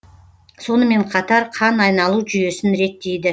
сонымен қатар қан айналу жүйесін реттейді